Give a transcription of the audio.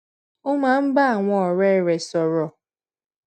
ó máa ń bá àwọn òré rè sòrò